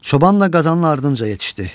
Çobanla Qazanın ardınca yetişdi.